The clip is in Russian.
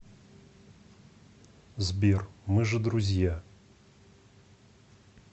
сбер мы же друзья